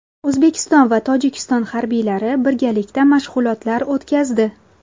O‘zbekiston va Tojikiston harbiylari birgalikda mashg‘ulotlar o‘tkazdi.